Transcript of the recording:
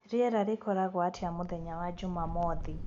rĩera rĩgakorwo atĩa mũthenya wa jũmamothĩ